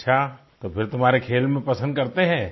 अच्छा तो फिर तुम्हारे खेल में पसंद करते हैं